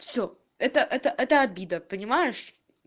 все это это это обида понимаешь